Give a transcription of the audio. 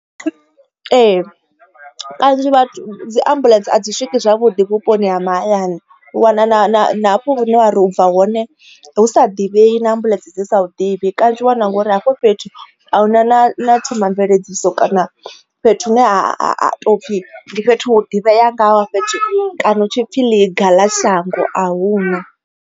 Ee kanzhi vhathu dzi ambuḽentse a dzi swiki zwavhuḓi vhuponi ha mahayani u wana hafhu wa ri u bva hone hu sa divhei na ambuḽentse dzi sa ḓivhi kana tshi wana ngori hafho fhethu a huna na themamveledziso kana fhethu hune ha topfhi ndi fhethu hu ḓivhea ngaho fhethu kana hu tshipfhi ḽiga ḽa shango ahuna.